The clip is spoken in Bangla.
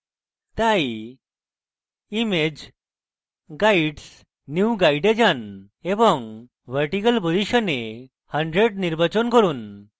তাই image guides new guide এ যান এবং vertical position এ 100 নির্বাচন করুন